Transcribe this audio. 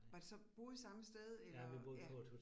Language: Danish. Var det så, boede I samme sted eller ja